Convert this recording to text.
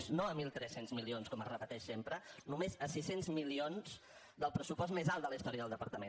no a mil tres cents milions com es repeteix sempre només a sis cents milions del pressupost més alt de la història del departament